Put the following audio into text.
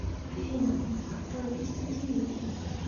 афина авто вести ти ви